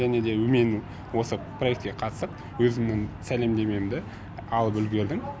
және де мен осы проектіге қатысып өзімнің сәлемдемемді алып үлгердім